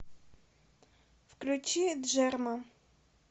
включи джерма